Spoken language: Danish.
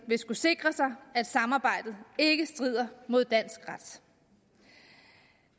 vil skulle sikre sig at samarbejdet ikke strider mod dansk ret